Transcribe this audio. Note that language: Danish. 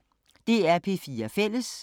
DR P4 Fælles